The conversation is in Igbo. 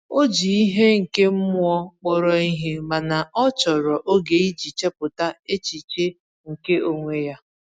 O ji ihe nke ime mmụọ kpọrọ ihe, mana ọ chọrọ oge iji chepụta echiche nke onwe ya.